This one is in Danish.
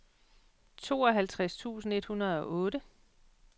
tooghalvtreds tusind et hundrede og otte